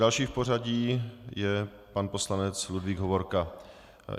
Další v pořadí je pan poslanec Ludvík Hovorka.